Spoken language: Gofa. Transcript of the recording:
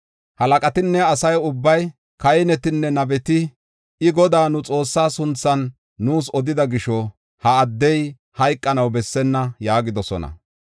Halaqatinne asa ubbay, kahinetinne nabeti, “I, Godaa, nu Xoossaa sunthan nuus odida gisho, ha addey hayqanaw bessenna” yaagidosona.